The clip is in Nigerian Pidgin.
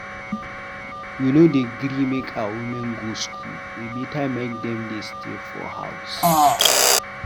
We no dey gree make our women go skool, e beta make dem dey stay for house.